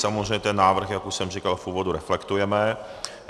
Samozřejmě ten návrh, jak už jsem říkal v úvodu, reflektujeme.